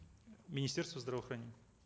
министерство здравоохранения